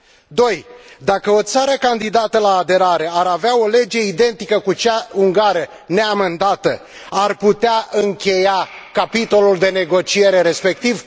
Doi dacă o țară candidată la aderare ar avea o lege identică cu cea ungară neamendată, ar putea încheia capitolul de negociere respectiv?